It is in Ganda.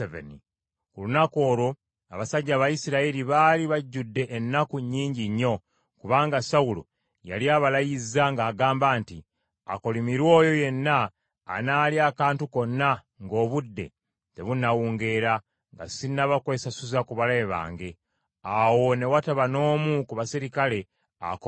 Ku lunaku olwo abasajja Abayisirayiri baali bajjudde ennaku nnyingi nnyo kubanga Sawulo yali abalayizza ng’agamba nti, “Akolimirwe oyo yenna anaalya akantu konna ng’obudde tebunnawungeera, nga sinnaba kwesasuza ku balabe bange.” Awo ne wataba n’omu ku baserikale akomba ku kantu.